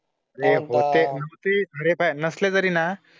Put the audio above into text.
ते होते, न्हवते, खरे पाय नसल्या तरीना